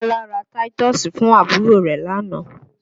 Bọ́lá ra táítọ́ọ́sì fún àbúrò rẹ̀ lánàá